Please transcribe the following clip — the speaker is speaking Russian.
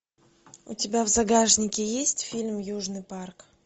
у тебя в загашнике есть фильм южный парк